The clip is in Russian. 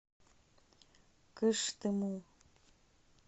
кыштыму